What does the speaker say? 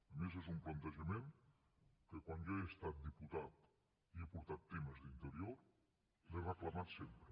a més és un plantejament que quan jo he estat diputat i he portat temes d’interior l’he reclamat sempre